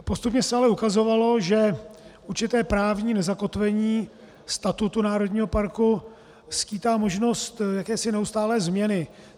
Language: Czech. Postupně se ale ukazovalo, že určité právní nezakotvení statutu národního parku skýtá možnost jakési neustálé změny.